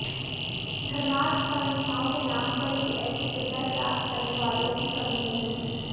धर्मार्थ संस्थाओं के नाम पर भी ऐसी सुविधाएं प्राप्त करने वालों की कमी नही है